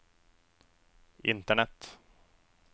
internett